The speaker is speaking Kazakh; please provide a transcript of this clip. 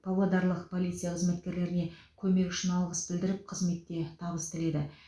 павлодарлық полиция қызметкерлеріне көмегі үшін алғыс білдіріп қызметте табыс тіледі